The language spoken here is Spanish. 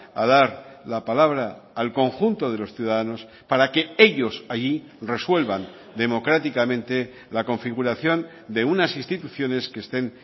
a dar la palabra al conjunto de los ciudadanos para que ellos allí resuelvan democráticamente la configuración de unas instituciones que estén